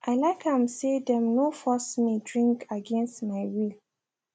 i like am say them no force me drink against my will